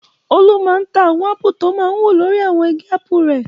Olú máa ń ta àwọn ápù tọ máa ń wù lórí àwọn igi ápù rẹ̀.